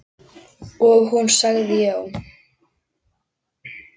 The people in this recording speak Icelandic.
Og hún sagði já.